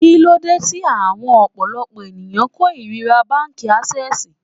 Kíló dé tí awón ọ̀pọ̀lọpọ̀ ẹ̀yàn kó ìríra báńkì Ásẹ́sìì?